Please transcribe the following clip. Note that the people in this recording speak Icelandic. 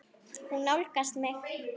Hún nálgast mig.